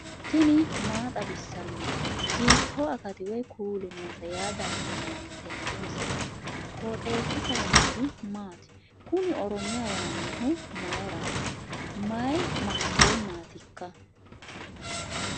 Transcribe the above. tini maa xawissanno ? hiitto akati woy kuuli noose yaa dandiinanni tenne misilera? qooxeessisera noori maati? kuni oromiya yaannohu mayrati mayi maikeennaatikka